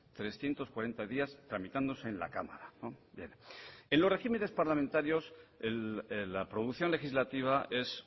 trescientos cuarenta días tramitándose en la cámara en los regímenes parlamentarios la producción legislativa es